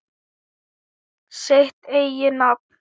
Sitt eigið nafn.